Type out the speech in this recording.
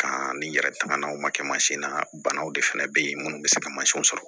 Kan ni yɛrɛ tɛmɛnaw ma kɛ mansin na banaw de fana bɛ yen minnu bɛ se ka mansinw sɔrɔ